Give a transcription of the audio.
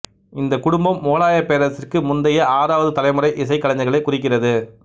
இந்த குடும்பம் முகலாயப் பேரரசிற்கு முந்தைய ஆறாவது தலைமுறை இசைக்கலைஞர்களைக் குறிக்கிறது